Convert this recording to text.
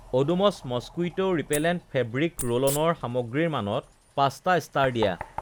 Odomos mosquito repellent fabric ৰোলঅ'নৰ সামগ্ৰীৰ মানত পাঁচটা ইষ্টাৰ দিয়া